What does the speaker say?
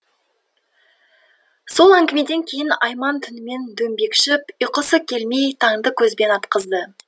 сол әңгімеден кейін айман түнімен дөңбекшіп ұйқысы келмей таңды көзбен атқызды